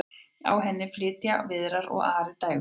á henni flytja viðar og ari dægurlög